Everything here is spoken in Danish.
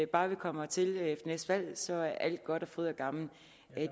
bare vi kommer til ved næste valg så er alt godt og fryd og gammen